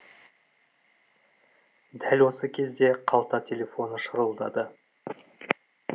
дәл осы кезде қалта телефоны шырылдады